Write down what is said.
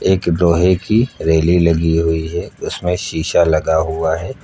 एक लोहे की रैली लगी हुई है उसमें शीशा लगा हुआ है।